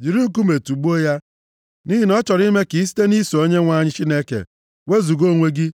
Jiri nkume tugbuo ya, nʼihi na ọ chọrọ ime ka i site nʼiso Onyenwe anyị Chineke, wezuga onwe gị,